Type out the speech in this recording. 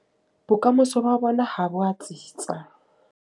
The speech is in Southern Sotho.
Bokamoso ba rona ha bo a tsitsa.